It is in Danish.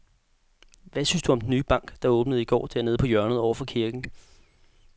Hvad synes du om den nye bank, der åbnede i går dernede på hjørnet over for kirken?